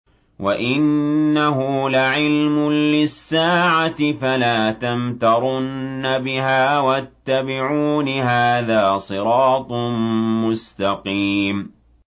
وَإِنَّهُ لَعِلْمٌ لِّلسَّاعَةِ فَلَا تَمْتَرُنَّ بِهَا وَاتَّبِعُونِ ۚ هَٰذَا صِرَاطٌ مُّسْتَقِيمٌ